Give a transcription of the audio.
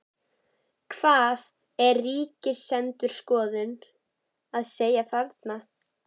Hvað er Ríkisendurskoðun að segja þarna?